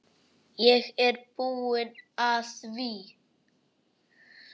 Ég er búinn að því!